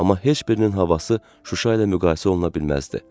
Amma heç birinin havası Şuşa ilə müqayisə oluna bilməzdi.